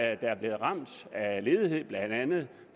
er blevet ramt af ledighed blandt andet